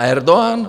A Erdogan?